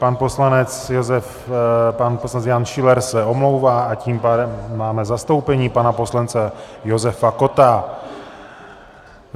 Pan poslanec Jan Schiller se omlouvá, a tím pádem máme zastoupení, pana poslance Josefa Kotta.